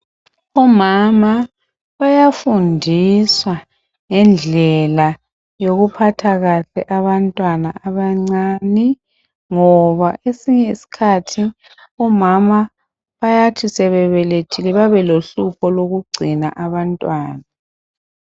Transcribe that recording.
Umama uyafundiswa ngendlela yokuphatha kahle abantwana abancene, ngoba kwesinye iskhathi omama bayathi sebebelethile babe lohlupho lokuphatha abantwana.